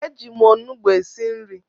Eji m onugbu esi nri